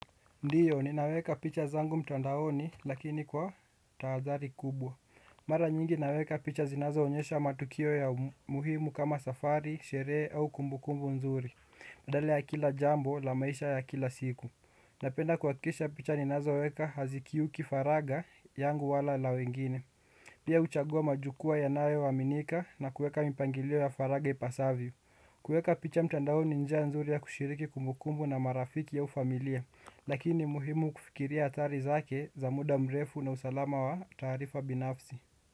Ndiyo, ninaweka picha zangu mtandaoni lakini kwa tahadhari kubwa. Mara nyingi naweka picha zinazoonyesha matukio ya muhimu kama safari, sherehe au kumbukumbu nzuri. Badala ya kila jambo la maisha ya kila siku. Napenda kuhakikisha picha ninazoweka hazikiuki faraga yangu wala la wengine. Pia huchagua majukwaa yanayoaminika na kuweka mipangilio ya faraga ipasavyo. Kuweka picha mtandaoni ni njia nzuri ya kushiriki kumbukumbu na marafiki au familia. Lakini ni muhimu kufikiria athari zake za muda mrefu na usalama wa taarifa binafsi.